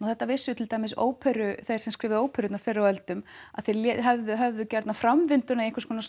þetta vissu til dæmis þeir sem skrifuðu fyrr á öldum þeir höfðu höfðu gjarnan framvinduna í einhvers konar